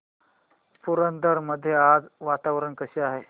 पुरंदर मध्ये आज वातावरण कसे आहे